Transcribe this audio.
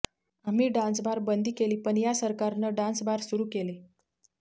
आम्ही dance bar बंदी केली पण या सरकारनं डान्स बार सुरु केले